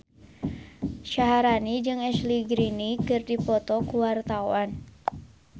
Syaharani jeung Ashley Greene keur dipoto ku wartawan